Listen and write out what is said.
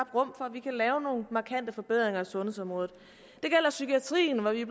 vi kan lave nogle markante forbedringer af sundhedsområdet det gælder psykiatrien hvor vi